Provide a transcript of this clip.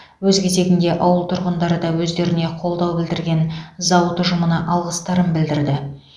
өз кезегінде ауыл тұрғындары да өздеріне қолдау білдірген зауыт ұжымына алғыстарын білдірді